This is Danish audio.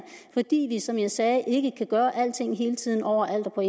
fordi vi som jeg sagde ikke kan gøre alting hele tiden over alt og